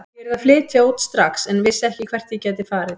Ég yrði að flytja út strax en vissi ekki hvert ég gæti farið.